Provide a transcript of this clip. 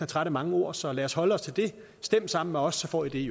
træt af mange ord så lad os holde os til det stem sammen med os så får i